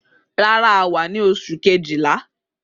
Rara, a wa ni oṣu Kejìlá